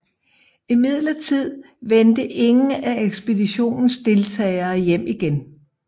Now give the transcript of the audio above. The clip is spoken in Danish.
Imidlertid vendte ingen af ekspeditionens deltagere hjem igen